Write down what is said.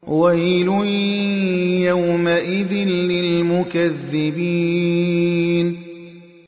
وَيْلٌ يَوْمَئِذٍ لِّلْمُكَذِّبِينَ